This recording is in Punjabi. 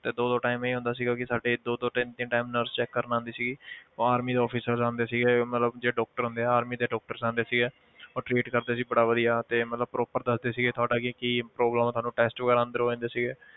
ਤੇ ਦੋ ਦੋ time ਇਹ ਹੁੰਦਾ ਸੀਗਾ ਕਿ ਸਾਡੇ ਦੋ ਦੋ ਤਿੰਨ ਤਿੰਨ time nurse check ਕਰਨ ਆਉਂਦੀ ਸੀਗੀ ਉਹ army ਦੇ officer ਆਉਂਦੇ ਸੀਗੇ ਮਤਲਬ ਜੋ doctor ਹੁੰਦੇ ਆ army ਦੇ doctors ਆਉਂਦੇ ਸੀਗੇ ਉਹ treat ਕਰਦੇ ਸੀ ਬੜਾ ਵਧੀਆ ਤੇ ਮਤਲਬ proper ਦੱਸਦੇ ਸੀਗੇ ਕਿ ਤੁਹਾਡਾ ਕਿ ਕੀ problem ਹੈ ਤੁਹਾਨੂੰ test ਵਗ਼ੈਰਾ ਅੰਦਰ ਹੋ ਜਾਂਦੇ ਸੀਗੇ